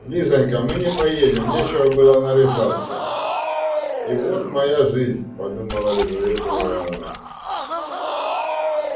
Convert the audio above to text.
лизанька мы не поедем нечего было наряжаться и вот моя жизнь подумала лизавета ивановна